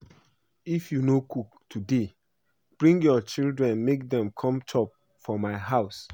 If you no cook today bring your children make dem come chop for my house